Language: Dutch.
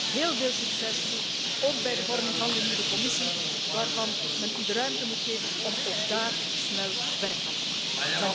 Ik wens u heel veel succes toe, ook bij de vorming van de nieuwe Commissie, waarbij men u de ruimte moet geven om daar snel werk van te maken.